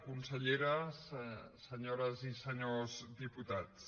conselleres senyores i senyors diputats